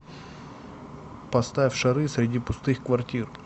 поставь шары среди пустых квартир